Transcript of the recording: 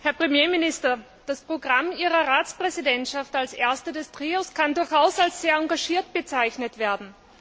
Herr Premierminister, das Programm Ihrer Ratspräsidentschaft als erster des Trios kann durchaus als sehr engagiert bezeichnet werden.